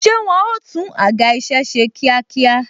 Ṣé wọn ó tún àga isẹ ṣe kíákíá?